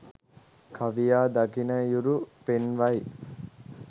කවියා දකිනයුරු පෙන්වයි